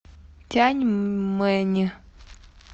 тяньмэнь